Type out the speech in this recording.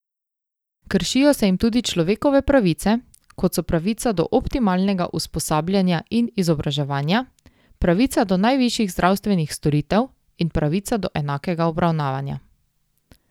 Kršijo se jim tudi človekove pravice, kot so pravica do optimalnega usposabljanja in izobraževanja, pravica do najvišjih zdravstvenih storitev in pravica do enakega obravnavanja.